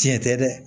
Tiɲɛ tɛ dɛ